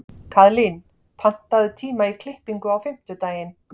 Kaðlín, pantaðu tíma í klippingu á fimmtudaginn.